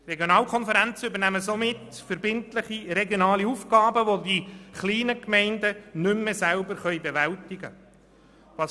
Regionalkonferenzen übernehmen verbindliche regionale Aufgaben, welche kleine Gemeinden nicht mehr selber bewältigen können.